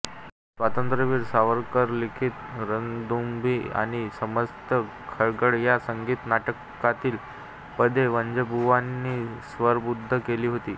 स्वातंत्रवीर सावरकरलिखित रणदुंदुभी आणि सन्यस्त खड्ग ह्या संगीत नाटकातली पदे वझेबुवांनी स्वरबद्ध केली होती